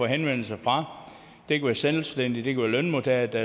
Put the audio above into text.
henvendelser fra det var selvstændige det var lønmodtagere der